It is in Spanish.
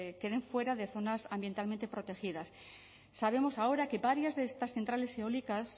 queden fuera de zonas ambientalmente protegidas sabemos ahora que varias de estas centrales eólicas